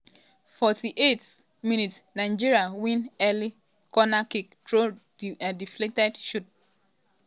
48 um mins - nigeria win early cornerkick through deflected shot by um kiki.